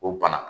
O bana